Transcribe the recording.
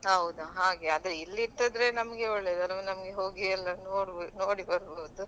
ಹೌದಾ ಹಾಗೆ ಆದ್ರೆ ಇಲ್ಲಿ ಇಟ್ಟಾದ್ರೆ ನಮ್ಗೆ ಒಳ್ಳೇದಲ್ವಾ ನಮ್ಗೆ ಹೋಗಿಯೆಲ್ಲ ನೋಡ್~ ನೋಡಿ ಬರ್ಬಹುದು.